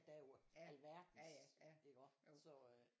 Der er jo alverdens iggå så øh